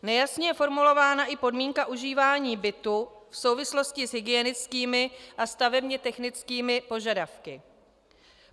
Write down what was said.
Nejasně je formulována i podmínka užívání bytu v souvislosti s hygienickými a stavebně technickými požadavky.